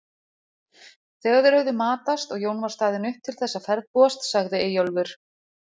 Þegar þeir höfðu matast og Jón var staðinn upp til þess að ferðbúast sagði Eyjólfur